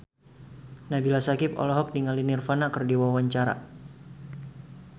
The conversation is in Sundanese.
Nabila Syakieb olohok ningali Nirvana keur diwawancara